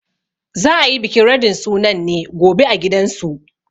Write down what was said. Za a yi bikin radin sunan ne gobe a gidansu.